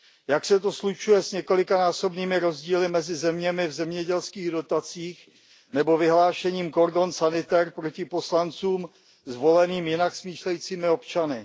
Jak se to slučuje s několikanásobnými rozdíly mezi zeměmi v zemědělských dotacích nebo vyhlášením cordon sanitaire proti poslancům zvoleným jinak smýšlejícími občany?